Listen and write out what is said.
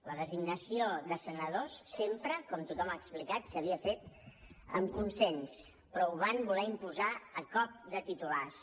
la designació de senadors sempre com tothom ha explicat s’havia fet amb consens però ho van voler imposar a cop de titulars